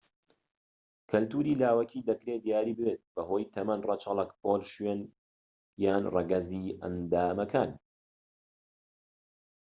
کەلتوری لاوەکی دەکرێت دیاری بێت بەهۆی تەمەن، ڕەچەڵەک، پۆل، شوێن و/یان ڕەگەزی ئەندامەکان